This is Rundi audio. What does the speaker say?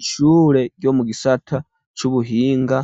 Ishure ryo mu gisata c'ubuhinga